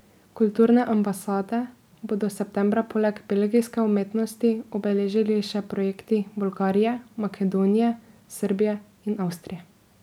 Kulturne ambasade bodo septembra poleg belgijske umetnosti obeležili še projekti Bolgarije, Makedonije, Srbije in Avstrije.